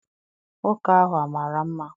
Nwoke ahụ amara mma?